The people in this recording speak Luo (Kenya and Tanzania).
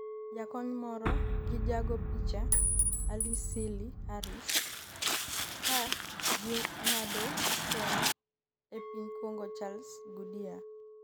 jakony moro gi jago picha Alice Seeley Haris kaging'ado tong e piny Congo Charles Goodyear